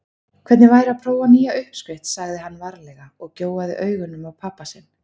Hvernig væri að prófa nýja uppskrift sagði hann varlega og gjóaði augunum á pabba sinn.